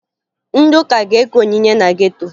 Ndị ụka ga-eke onyinye na geto